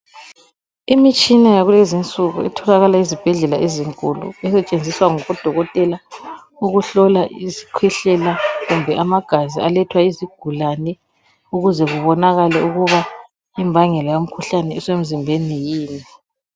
imitshina yakuzinsuku etholakala ezibhedlela ezinkulu esetshenziswa babodokotela ukuhlola izikhwehlela kumbe amagazi alethwa yizigulane ukuze kubonakale ukuba imvangelo yemkhuhlane isemzimbeni yini